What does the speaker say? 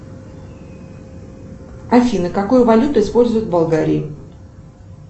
афина какую валюту используют в болгарии